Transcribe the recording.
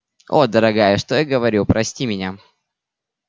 о дорогая что я говорю прости меня